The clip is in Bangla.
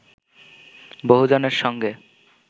বহুজনের সঙ্গে